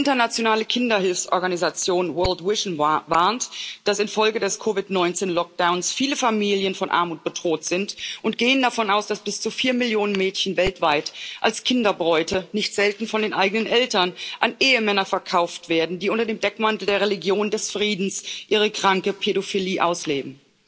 Die internationale Kinderhilfsorganisation World Vision warnt, dass infolge des COVID 19 Lockdowns viele Familien von Armut bedroht sind, und geht davon aus, dass bis zu vier Millionen Mädchen weltweit als Kinderbräute nicht selten von den eigenen Eltern an Ehemänner verkauft werden, die unter dem Deckmantel der Religion des Friedens ihre kranke Pädophilie ausleben.